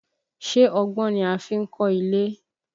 Ṣé ọgbọ́n ni a fi n kọ́ ilé?